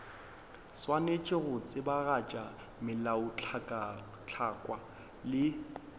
swanetše go tsebagatša melaotlhakwa le